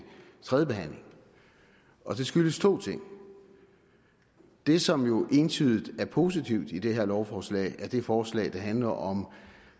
tredjebehandlingen og det skyldes to ting det som jo er entydigt positivt i det her lovforslag er det forslag der handler om